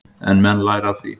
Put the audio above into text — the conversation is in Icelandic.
En menn læra af því.